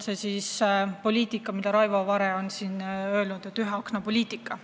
See on see, mida Raivo Vare on nimetanud ühe akna poliitikaks.